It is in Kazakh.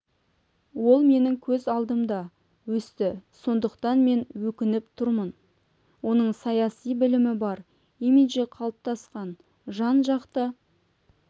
ол менің көз алдымда өсті сондықтан мен өкініп тұрмын оның саяси білімі бар имиджі қалыптасқан жан-жақты